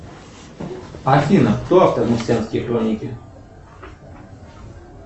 афина кто автор марсианские хроники